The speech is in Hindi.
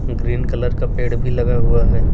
ग्रीन कलर का पेड़ भी लगा हुआ है।